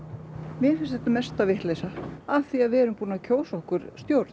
mér finnst þessi mesta vitleysa við erum búin að kjósa okkur stjórn